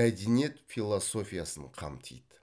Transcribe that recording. мәдениет философиясын қамтиды